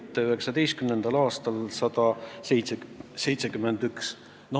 2019. aastal on see 171 miljonit.